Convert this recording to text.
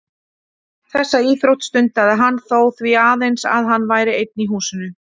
Þessa íþrótt sína stundaði hann þó því aðeins að hann væri einn í húsinu.